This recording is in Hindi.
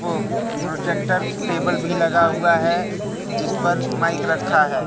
प्रो प्रोजेक्टर टेबल भी लगा हुआ है जिस पर माइक रखा है।